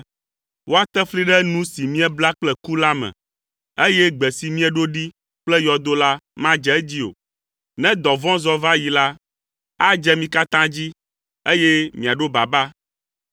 Woate fli ɖe nu si miebla kple ku la me, eye gbe si mieɖo ɖi kple yɔdo la madze edzi o. Ne dɔvɔ̃ zɔ va yi la, adze mi katã dzi, eye miaɖo baba.